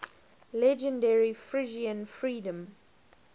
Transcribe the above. legendary frisian freedom